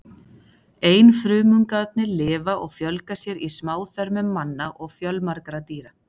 Einfrumungarnir lifa og fjölga sér í smáþörmum manna og fjölmargra dýra.